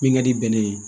Min ka di bɛnɛ ye